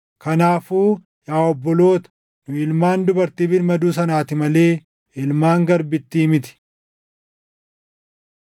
Kanaafuu yaa obboloota, nu ilmaan dubartii birmaduu sanaati malee ilmaan garbittii miti.